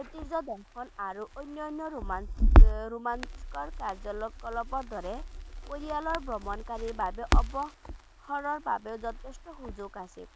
ঐতিজ্য দেশখন আৰু অন্যান্য romance ৰ কাৰ্যকলাপৰ দৰে পৰিয়ালৰ ভ্ৰমণকাৰিৰ বাবে অৱসৰ বাবেও যথেষ্ট সুযোগ আছে